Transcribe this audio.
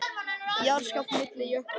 Jarðskjálftahrina milli jökla